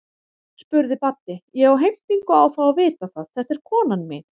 spurði Baddi, ég á heimtingu á að fá að vita það, þetta er konan mín.